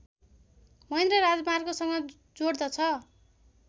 महेन्द्र राजमार्गसँग जोड्दछ